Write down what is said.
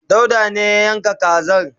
dauda ne ya yanka kanza